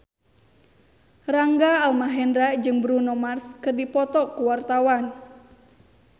Rangga Almahendra jeung Bruno Mars keur dipoto ku wartawan